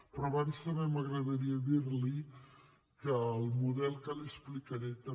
però abans també m’agradaria dir li que el model que li explicaré també